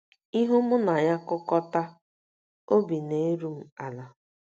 Ihu mụ na ya kukọta, obi na - eru m ala.